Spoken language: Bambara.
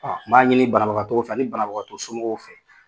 A n b'a ɲini banabagatɔw fɛ ani banabagatɔ somɔgɔw fɛ